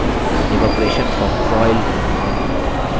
evaporation from soil